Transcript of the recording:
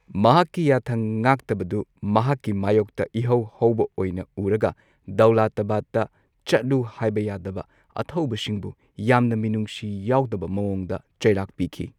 ꯃꯍꯥꯛꯀꯤ ꯌꯥꯊꯪ ꯉꯥꯛꯇꯕꯗꯨ ꯃꯍꯥꯛꯀꯤ ꯃꯥꯌꯣꯛꯇ ꯏꯍꯧ ꯍꯧꯕ ꯑꯣꯏꯅ ꯎꯔꯒ ꯗꯧꯂꯥꯇꯥꯕꯥꯗꯇ ꯆꯠꯂꯨ ꯍꯥꯏꯕ ꯌꯥꯗꯕ ꯑꯊꯧꯕꯁꯤꯡꯕꯨ ꯌꯥꯝꯅ ꯃꯤꯅꯨꯡꯁꯤ ꯌꯥꯎꯗꯕ ꯃꯥꯢꯌꯣꯛꯇ ꯆꯩꯔꯥꯛ ꯄꯤꯈꯤ꯫